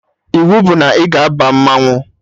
Iwu bụ na ị ga-aba mmanwụ